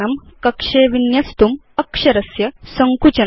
कक्षे विन्यस्तुम् अक्षरस्य सङ्कुचनम्